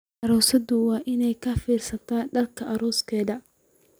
Aroosadu waa inay ka fiirsataa dharka arooskeeda.